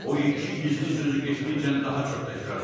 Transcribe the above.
O iki gizli sözü getdikcə daha çox təkrarlayırdı.